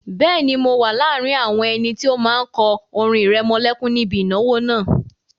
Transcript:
Bẹ́ẹ̀ni, mo wà láàrin àwọn ẹni tó máa kọ orin ìrẹmọlẹ́kún níbi ìnáwó náà